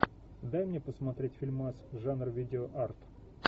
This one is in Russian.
дай мне посмотреть фильмас жанр видеоарт